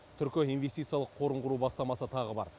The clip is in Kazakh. түркі инвестициялық қорын құру бастамасы тағы бар